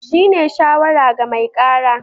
Shi ne shawara ga mai kara